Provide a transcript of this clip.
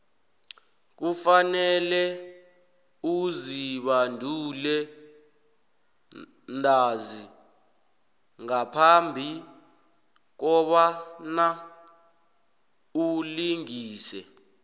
kufanele uzibandule ntanzi ngaphambi kobana ulingise